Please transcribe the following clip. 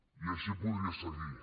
i així podria seguir